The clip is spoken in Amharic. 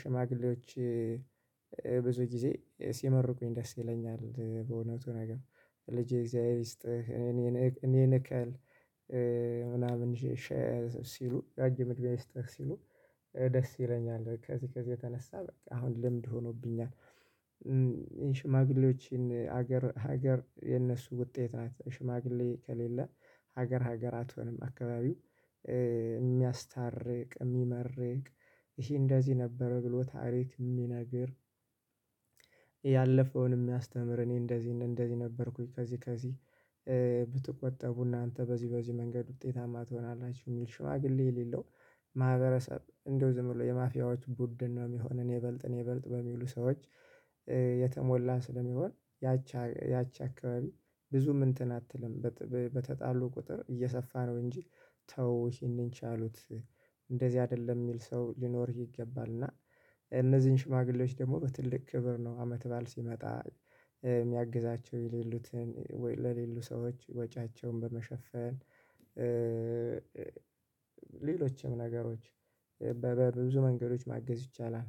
ሽማግሌዎች ብዙ ጊዜ ሲመርቁኝ ደስ ይለኛል። በእውነቱ ነገር። ልጄ እግዚአብሔር ይስጥህ፤ እኔን እኔን እከል ምናምን ሲሉ ረጅም እድሜ ይስጥህ ሲሉ ደስ ይለኛል። ከዚህ ከዚህ የተነሳ በቃ አሁን ልምድ ሆኖብኛል ሽማግሌዎችን ሀገር ሀገር የነሱ ውጤት ናት። ሽማግሌ ከሌለ ሀገር ሀገር አትሆንም። አካባቢው የሚያስታርቅ፣ የሚመርቅ፣ ይሄ እንደዚህ ነበረ ብሎ ታሪክ የሚነግር ያለፈውን የሚያስተምር፣ እኔ እንደዚህ እንደዚህ ነበርኩኝ ከዚህ ብትቆጠቡ እናንተ በዚህ በዚህ መንገድ ውጤታማ ትሆናላችሁ የሚል ሽማግሌ የሌለው ማህበረሰብ እንደው ዝም ብሎ የማፊያዎች ቡድን ነው የሚሆን። እኔ እበልጥ እኔ እበልጥ በሚሉ ሰዎች የተሞላ ስለሚሆን፥ ያቺ ያቺ አካባቢ ብዙም እንትን አትልም። በተጣሉ ቁጥር እየሰፋ ነው እንጂ ተው ይህንን ቻሉት እንደዚህ አይደለም የሚል ሰው ሊኖርህ ይገባል እና እነዚህን ሽማግሌዎች ደግሞ በትልቅ ክብር ነው አመት በዓል ሲመጣ። የሚያግዛቸው የሌሉትን ወይ ለሌሉ ሰዎች ወጪያቸውን በመሸፈን ሌሎችም ነገሮች በብዙ መንገዶች ማገዝ ይቻላል